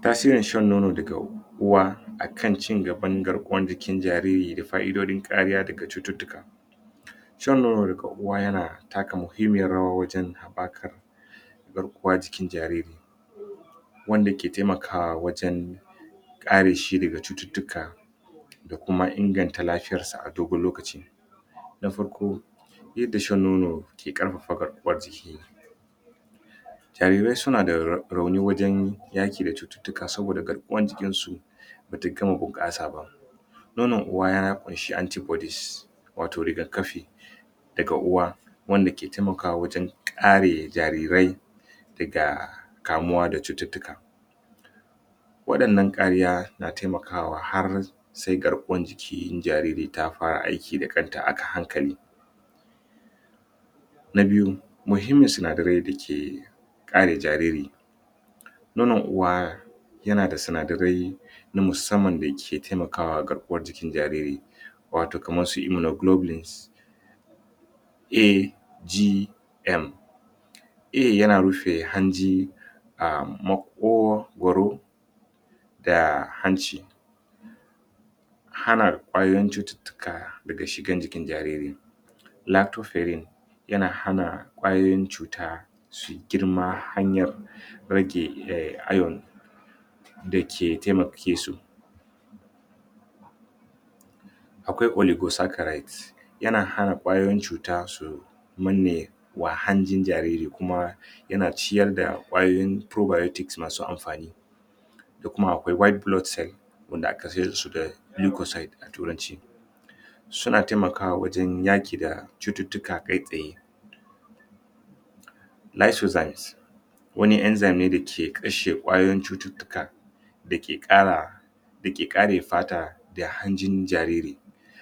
Tasirin shan nono daga uwa akan cigaban garkuwan jikin jariri da fa'idodin kariya daga cututtuka shan nono daga uwa yana taka mahimmiyar rawa wajen haɓɓakar garkuwa jikin jariri wanda ke taimakawa wajen kare shi daga cututtuka da kuma inganta lafiyar sa a dogon lokaci na farko yadda shan nono ke ƙarfafa garkuwan jiki jarirai suna da rauni wajen yaƙi da cututtuka saboda garkuwan jikin su bata gama bunƙasa ba nonon uwa ya ƙunshi anti bodies wato riga kafi daga uwa wanda ke taimakawa wajen kare jarirai daga kamuwa da cututtuka waɗannan kariya na taimakawa har sai garkuwan jikin jariri ta fara aiki da kanta a hankali na biyu, muhimmin sinadarai da ke kare jariri nonon uwa yana da sinadarai na musamman da ke taimakawa garkuwan jikn jariri wato kaman su hemoglobin A,G,M A yana rufe hanji a maƙogwaro da hanci hana ƙwayan cututtuka daga shigan jikin jariri lactofferine yana hana ƙwayoyin cuta su girma hanyan rage iron da ke taimake su akwai polysaccharides yana hana ƙwayoyin cuta su manne wa hanjin jariri kuma yana ciyar da ƙwayoyin probiotics masu amfani da kuma akwai white blood cell wanda aka saida su da lucozade a turanci suna taimakawa wajen yaƙi da cututtuka kai tsaye isozymes wani enzymes ne da ke kashe ƙwayoyin cututtuka da ke kara da ke kare fata da hanjin jariri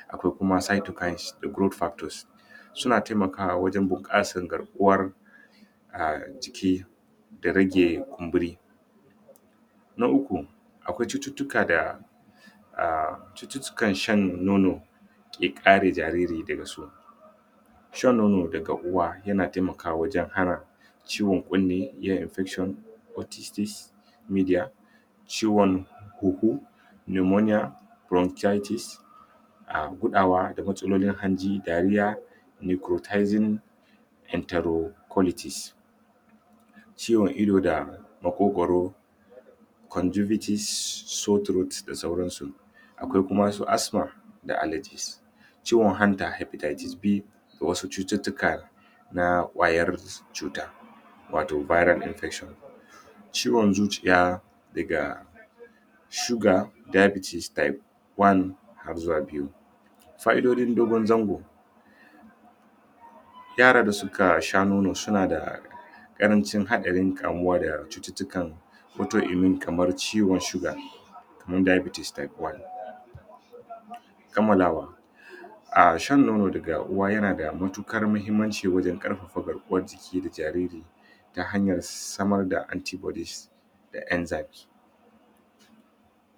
akwai kuma sythocines da glu-factors suna taimakawa wajen bunƙasan garkuwar ah, jiki da rage kumburi na uku, akwai cututtuka da ah, cututtukan shan nono ke kare jariri daga su shan nono daga uwa yana taimakawa wajen hana ciwon kunne, kiyaye infection otities ciwon huhu pneumonia bronchitis ah, gudawa da matsalolin hanji, diarrhea micrazym entero qualities ciwon ido da maƙwogwaro conjunctivitis, sour throat da sauran su akwai kuma su asthma da alergies ciwon hanta hepatitis B wasu cututtuka na ƙwaryar cuta wato viral infection ciwon zuciya daga shuga diabetes type one har zuwa biyu fa'idodin dogon zango yara da suka sha nono suna da ƙarancin haɗarin kamuwa da cututtuka wato immune kamar ciwon shuga kaman diabetes type one kammalawa ah, shan nono daga uwa yana da matuƙar mahimmanci wajen ƙarfafa garkuwan jiki da jariri ta hanyar samar da anti bodies da engymes.